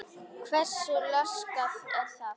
Hversu laskað það er?